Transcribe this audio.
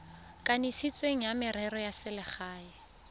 kanisitsweng wa merero ya selegae